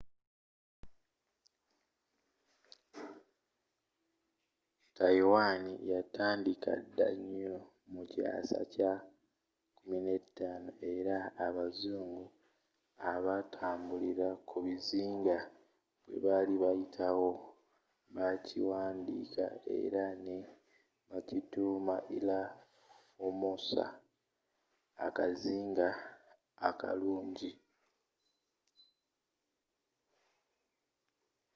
taiwan yatandiika dda nnyo mu kyasa kya 15th era nga abazungu abatambulira ku bizinga bwe bali bayita wo bakiwandiika era ne bakituuma llha formosa akazinga akalungi